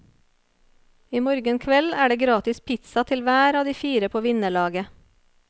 I morgen kveld er det en gratis pizza til hver av de fire på vinnerlaget.